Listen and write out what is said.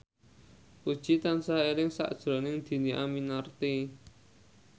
Puji tansah eling sakjroning Dhini Aminarti